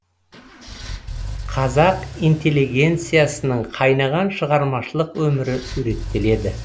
қазақ интеллигенциясының қайнаған шығармашылық өмірі суреттеледі